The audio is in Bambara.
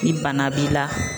Ni bana b'i la.